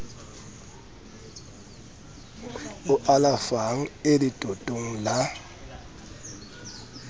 o alafang e letotong la